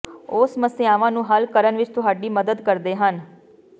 ਉਹ ਸਮੱਸਿਆਵਾਂ ਨੂੰ ਹੱਲ ਕਰਨ ਵਿੱਚ ਤੁਹਾਡੀ ਮਦਦ ਕਰਦੇ ਹਨ